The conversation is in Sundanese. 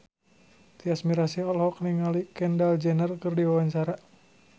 Tyas Mirasih olohok ningali Kendall Jenner keur diwawancara